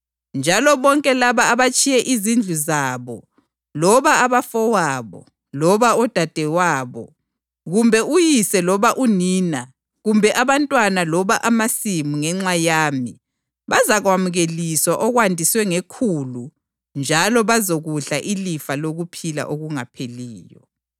UJesu wathi kubo, “Ngilitshela iqiniso ukuthi, emhlabeni omutsha, lapho iNdodana yoMuntu isihlezi esihlalweni sobukhosi, lina elingilandelayo lani lizahlala ezihlalweni zobukhosi ezilitshumi lambili, lahlulele izizwana ezilitshumi lambili zako-Israyeli.